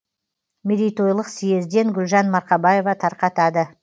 мерейтойлық съезден гүлжан марқабаева тарқытады